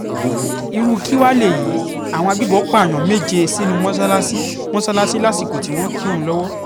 irú kí wàá lélẹ́yìí àwọn agbébọ̀n pààyàn méje sínú mọ́ṣáláṣí mọ́ṣáláṣí lásìkò tí wọ́n ń kírun lọ́wọ́